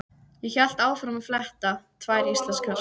Ég hélt áfram að fletta: Tvær íslenskar.